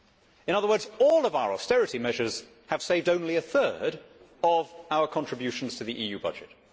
In other words, all of our austerity measures have saved only a third of our contributions to the EU budget.